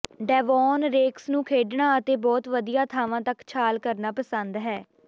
Devon Rex ਨੂੰ ਖੇਡਣਾ ਅਤੇ ਬਹੁਤ ਵਧੀਆ ਥਾਵਾਂ ਤੱਕ ਛਾਲ ਕਰਨਾ ਪਸੰਦ ਹੈ